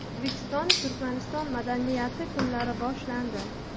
O‘zbekistonda Turkmaniston madaniyati kunlari boshlandi.